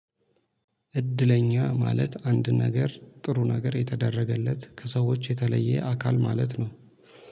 እድለኛ ማለት አንድ ነገር ጥሩ ነገር የተደረገለት ከሰዎች የተለየ አካል ማለት ነው